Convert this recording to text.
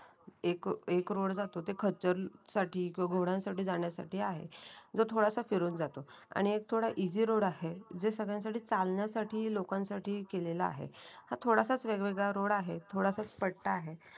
एक एक रोड जातो ते खचर साठी किंवा घोड्यांसाठी जाण्याचा आहे. जो तुम्हाला असं फिरून जातो. आणि एक थोडा इझी रोड आहे. जे सगळ्यांसाठी चालण्यासाठी लोकांसाठी केलेला आहे. हा थोडासा वेग वेगळा रोड आहे. थोडासा पट्टा आहे.